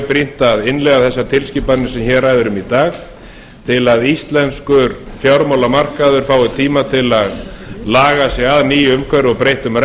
brýnt að innleiða þessar tilskipanir sem hér ræðir um í dag til að íslenskur fjármálamarkaður fái tíma til að laga sig að nýju umhverfi og breyttum reglum